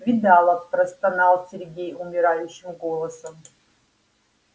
видала простонал сергей умирающим голосом